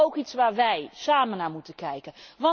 het is ook iets waar wij, samen naar moeten kijken.